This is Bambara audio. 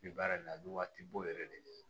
Bi baara in na a bɛ waatibo yɛrɛ de ɲini